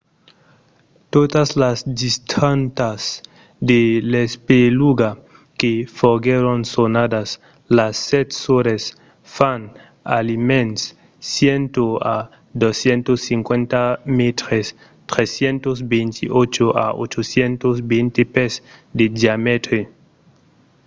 totas las dintradas de l'espeluga que foguèron sonadas las sèt sòrres fan almens 100 a 250 mètres 328 a 820 pès de diamètre